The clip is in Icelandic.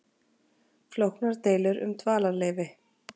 Flóknar deilur um dvalarleyfi